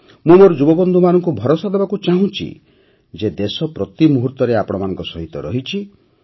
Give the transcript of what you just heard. ମୁଁ ମୋର ଯୁବବନ୍ଧୁମାନଙ୍କୁ ଭରସା ଦେବାକୁ ଚାହୁଁଛି ଯେ ଦେଶ ପ୍ରତି ମୁହୁର୍ତ୍ତରେ ଆପଣମାନଙ୍କ ସହିତ ରହିଛି